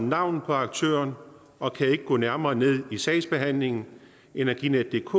navnet på aktøren og kan ikke gå nærmere ned i sagsbehandlingen energinetdk